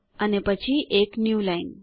અને પછી એક ન્યૂલાઇન